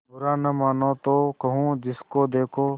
बुरा न मानों तो कहूँ जिसको देखो